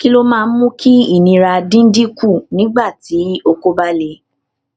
kí ló máa ń mú kí ìnira dín dín kù nígbà tí oko ba le